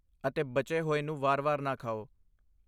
ਅਤੇ ਬਚੇ ਹੋਏ ਨੂੰ ਵਾਰ ਵਾਰ ਨਾ ਖਾਓ